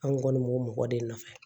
An kɔni b'o mɔgɔ de nɔfɛ